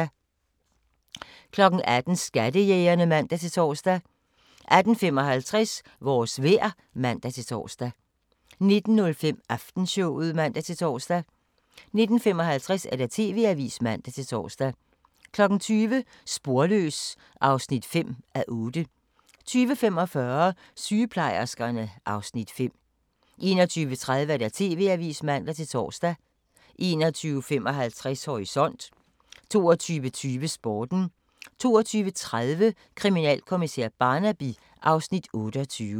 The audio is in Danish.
18:00: Skattejægerne (man-tor) 18:55: Vores vejr (man-tor) 19:05: Aftenshowet (man-tor) 19:55: TV-avisen (man-tor) 20:00: Sporløs (5:8) 20:45: Sygeplejerskerne (Afs. 5) 21:30: TV-avisen (man-tor) 21:55: Horisont 22:20: Sporten 22:30: Kriminalkommissær Barnaby (Afs. 28)